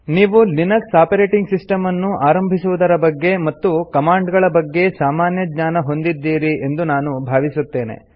ನೀವು Linux operating system ಅನ್ನು ಆರಂಭಿಸುವುದರ ಬಗ್ಗೆ ಮತ್ತು ಕಮಾಂಡ್ ಗಳ ಬಗ್ಗೆ ಸಾಮಾನ್ಯ ಜ್ಞಾನ ಹೊಂದಿದ್ದೀರಿ ಎಂದು ನಾನು ಭಾವಿಸುತ್ತೇನೆ